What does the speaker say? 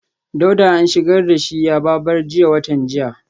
Dauda an shigar da shi yaba bar jiya watan jiya